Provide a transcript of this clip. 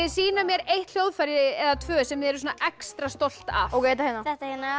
sýna mér eitt hljóðfæri eða tvö sem þið eruð extra stolt af þetta hérna þetta hérna